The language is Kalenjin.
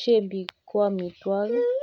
imbar